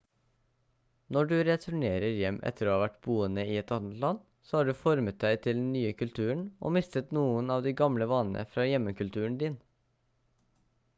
når du returnerer hjem etter å ha vært boende i et annet land så har du formet deg til den nye kulturen og mistet noen av de gamle vanene fra hjemmekulturen din